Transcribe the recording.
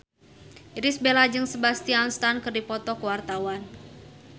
Irish Bella jeung Sebastian Stan keur dipoto ku wartawan